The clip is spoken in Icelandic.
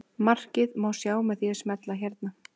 Markið má sjá með því að smella hérna.